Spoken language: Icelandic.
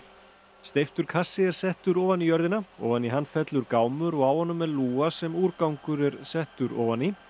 steyptur kassi er settur ofan í jörðina ofan í hann fellur gámur og á honum er lúga sem úrgangur er settur ofan í